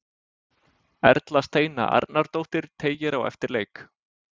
Erla Steina Arnardóttir teygir á eftir leik.